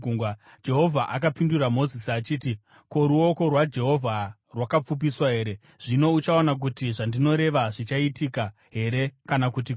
Jehovha akapindura Mozisi achiti, “Ko, ruoko rwaJehovha rwakapfupiswa here? Zvino uchaona kuti zvandinoreva zvichaitika here kana kuti kwete.”